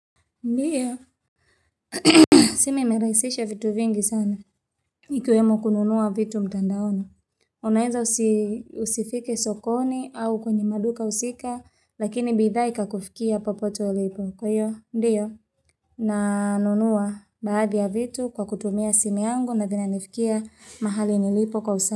Ndiyo, simi imeraisisha vitu vingi sana. Ikiwemo kununua vitu mtandaoni. Unaeza usifike sokoni au kwenye maduka husika, lakini bidhaa ika kufikia popote ulipo. Kwa hiyo, ndiyo? Nanunua baadhi ya vitu kwa kutumia simu yangu na vina nifikia mahali nilipo kwa usanii.